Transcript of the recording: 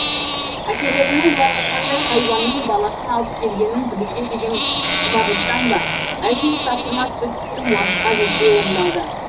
әкелерінің бұларға қандай хайуанның баласын алып келгенін білуге деген құмарлықтан ба әйтеуір тапсырма сүт пісірім уақытқа жетпей орындалды